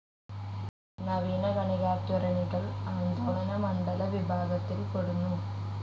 നവീന കണികാത്വരണികൾ ആന്ദോളനമണ്ഡല വിഭാഗത്തിൽ പെടുന്നു.